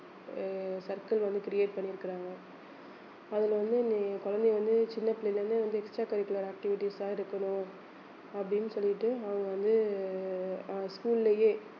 அஹ் circle வந்து create பண்ணி இருக்குறாங்க அதுல வந்து நி~ குழந்தையை வந்து சின்ன பிள்ளையில இருந்தே வந்து extra curricular activities தான் இருக்கணும் அப்படின்னு சொல்லிட்டு அவங்க வந்து அஹ் school லயே